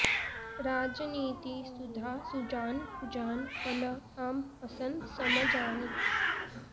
राजनीति सुधा सुजान कुजान फल आम असन सम जानि